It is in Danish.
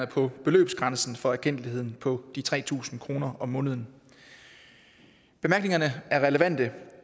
på beløbsgrænsen for erkendtligheden på de tre tusind kroner om måneden bemærkningerne er relevante